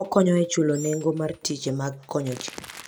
Okonyo e chulo nengo mar tije mag konyo ji.